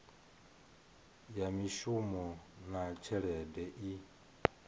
ya mishumo na tshelede i